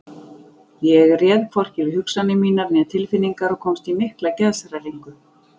Ég réð hvorki við hugsanir mínar né tilfinningar og komst í mikla geðshræringu.